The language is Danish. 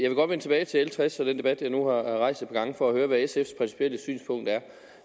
godt vende tilbage til l tres og den debat jeg nu har rejst et par gange for at høre hvad sfs principielle synspunkt er